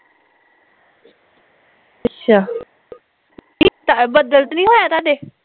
ਅੱਛਾ ਬਦਲ ਤੇ ਨੀ ਹੋਇਆ ਤੁਹਾਡੇ